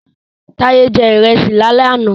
Taye jẹ ìrẹsì lálẹ́ àná